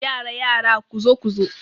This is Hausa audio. Yara yara, kuzo kuzo